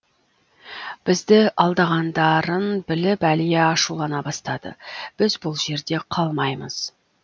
бізді алдағандарын біліп әлия ашулана бастады біз бұл жерде қалмаймыз